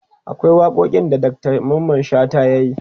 akwai waƙoƙin da Dr Mamman shata yayi